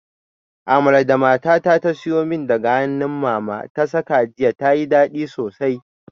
Amala da matata ta siyo min daga hannun mama ta saka jiya tayi dadi sosai